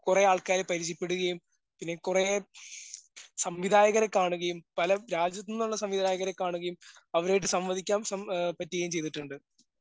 കുറേ ആൾക്കാരെ പരിചയപ്പെടുകയും പിന്നെ കുറേ സംവിധായകരെ കാണുകയും പല രാജ്യത്തോന്നുള്ള സംവിധായകരെ കാണുകയും അവരെ സംവദിക്കാൻ സം ആ ചെയ്തിട്ടുണ്ട്.